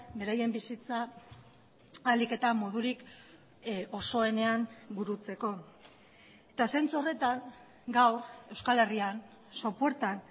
beraien bizitza ahalik eta modurik osoenean burutzeko eta zentzu horretan gaur euskal herrian sopuertan